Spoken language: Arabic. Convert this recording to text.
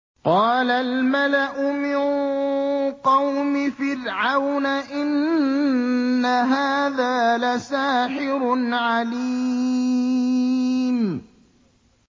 قَالَ الْمَلَأُ مِن قَوْمِ فِرْعَوْنَ إِنَّ هَٰذَا لَسَاحِرٌ عَلِيمٌ